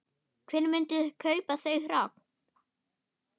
Hver myndi kaupa þau hrogn?